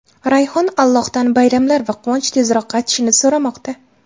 Rayhon Allohdan bayramlar va quvonch tezroq qaytishini so‘ramoqda.